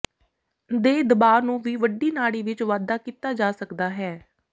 ਦੇ ਦਬਾਅ ਨੂੰ ਵੀ ਵੱਡੀ ਨਾੜੀ ਵਿਚ ਵਾਧਾ ਕੀਤਾ ਜਾ ਸਕਦਾ ਹੈ